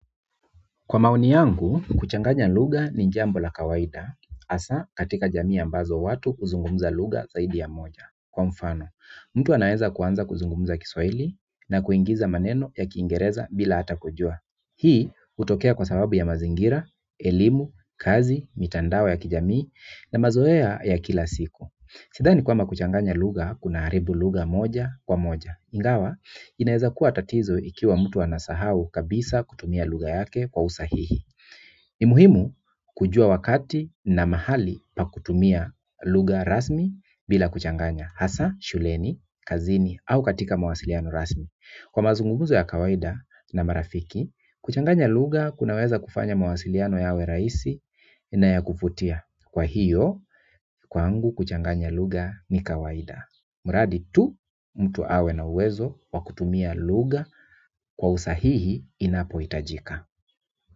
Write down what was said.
Kwa maoni yangu, kuchanganya lugha ni jambo la kawaida, hasa katika jamii ambazo watu huzungumuza lugha zaidi ya moja. Kwa mfano, mtu anaeza kuanza kuzungumuza kiswahili na kuingiza maneno ya kingereza bila hata kujua. Hii hutokea kwa sababu ya mazingira, elimu, kazi, mitandao ya kijamii na mazoea ya kila siku. Sidhani kwamba kuchanganya lugha, kuna haribu lugha moja kwa moja. Ingawa, inaweza kuwa tatizo ikiwa mtu anasahau kabisa kutumia lugha yake kwa usahihi NI muhimu kujua wakati na mahali pa kutumia lugha rasmi bila kuchanganya hasa, shuleni, kazini au katika mawasiliano rasmi kwa mazungumuzo ya kawaida na marafiki, kuchanganya lugha kunaweza kufanya mwasiliano yawe rahisi na ya kuvutia kwa hiyo, kwangu kuchanganya lugha ni kawaida mradi tu mtu awe na uwezo wa kutumia lugha kwa usahihi inapo hitajika.